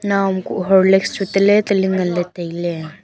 naoam kuh horlicks chu tale tele ngan ley tailey.